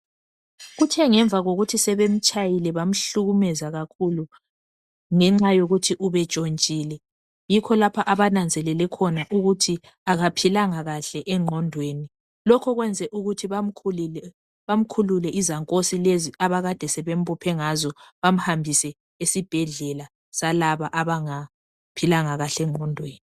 Kuthe ngemva kokuthi sebemtshayile bamhlukumeza kakhulu ngenxa yokuthi ubetshontshile yikho lapho abananzelele khona ukuthi akaphilanga kahle engqondweni lokho kwenze ukuthi bamkhulule izankosi lezi abakade sebembophe ngazo bamhambise esibhedlela salaba abanga philanga kahle engqondweni.